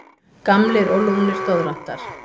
Gamlir og lúnir doðrantar.